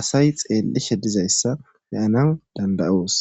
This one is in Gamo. asay xeellishe dizayssa beyanan dandayoos.